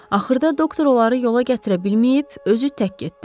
Axırda doktor onları yola gətirə bilməyib, özü tək getdi.